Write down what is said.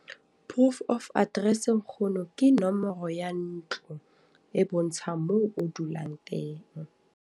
Proof of address nkgono, ke nomoro ya ntlo e bontsha moo o dulang teng.